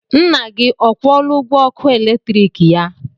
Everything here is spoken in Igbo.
Nna gị ọ kwụọla ụgwọ ọkụ eletrik ya?